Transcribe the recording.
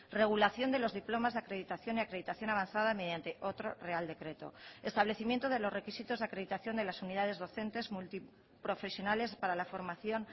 regulación de los diplomas de acreditación y acreditación avanzada mediante otro real decreto establecimiento de los requisitos de acreditación de las unidades docentes multiprofesionales para la formación